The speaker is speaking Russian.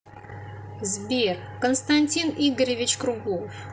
сбер константин игоревич круглов